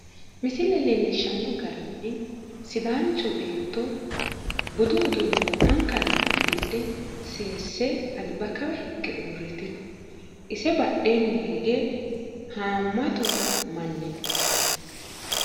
misile leellishshanno garinni sidaancho beetto budu uduunne wo'mankanni uddidhe seesse alba kawa higge uurritino, ise badheenni hige haammatu manni no.